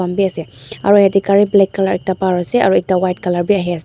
beh ase aro yate gare black colour ekta par ase aro ekta white colour beh ahe ase.